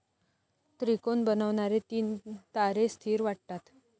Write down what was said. त्रिकोण बनवणारे तीन तारे स्थीर वाटतात.